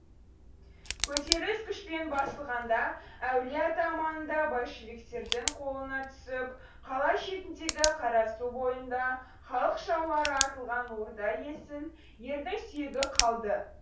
көтеріліс күшпен басылғанда әулие ата маңында большевиктердің қолына түсіп қала шетіндегі қарасу бойында халық жаулары атылған орда есіл ердің сүйегі қалды